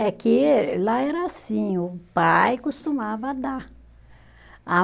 É que lá era assim, o pai costumava dar. A